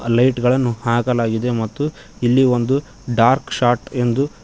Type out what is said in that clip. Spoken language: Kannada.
ಲೈಟ್ ಗಳನ್ನು ಹಾಕಲಾಗಿದೆ ಮತ್ತು ಇಲ್ಲಿ ಒಂದು ಡಾರ್ಕ್ ಶಾರ್ಟ್ ಎಂದು--